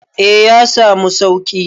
A yasamu sauƙi